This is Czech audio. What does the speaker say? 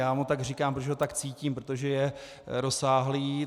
Já mu tak říkám, protože ho tak cítím, protože je rozsáhlý.